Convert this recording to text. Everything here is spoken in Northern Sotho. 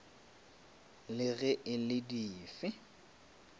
le ge e le dife